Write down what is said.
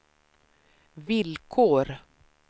villkor